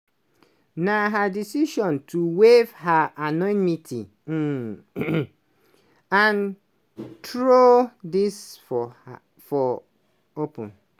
na her decision to waive her anonymity and throw dis for open.